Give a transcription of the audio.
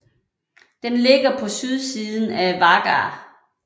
Den ligger på sydsiden af Vágar